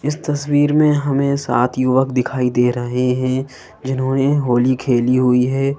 इस तस्वीर में हमें सात युवक दिखाई दे रहे हैं जिन्होंने होली खेली हुई है।